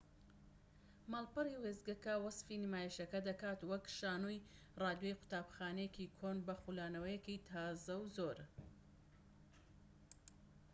ماڵپەڕی وێستگەکە وەسفی نمایشەکە دەکات وەک شانۆی ڕادیۆی قوتابخانەیەکی کۆن بە خولانەوەیەکی تازە و زۆر